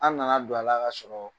An' nana don a la ka sɔrɔɔ